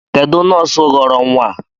Kedụ nọọsụ ghọrọ nwa a?